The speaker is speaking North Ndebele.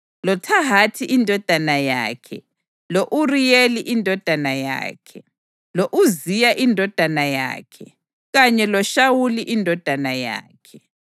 loThahathi indodana yakhe, lo-Uriyeli indodana yakhe, lo-Uziya indodana yakhe kanye loShawuli indodana yakhe.